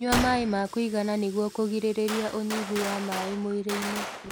Nyua maĩ ma kuigana nĩguo kuigiririrĩa unyihu wa maĩ mwĩrĩ-ini